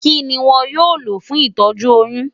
Kí ni wọn yóò lò fún ìtọ́jú oyún?